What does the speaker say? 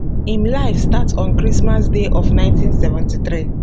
im life start on christmas day of 1973